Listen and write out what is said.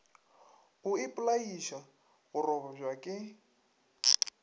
o ipolaiša go robja ke